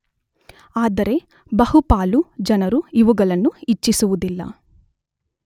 ಆದರೆ ಬಹುಪಾಲು ಜನರು ಇವುಗಳನ್ನು ಇಚ್ಚಿಸುವುದಿಲ್ಲ.